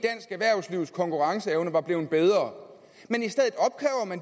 erhvervslivs konkurrenceevne var blevet bedre